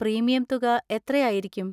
Premium തുക എത്രയായിരിക്കും?